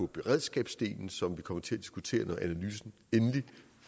beredskabsdelen som vi kommer til at diskutere når analysen endelig